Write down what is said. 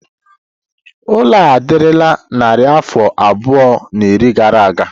Ụlọ a adịla narị afọ abụọ na iri gara aga.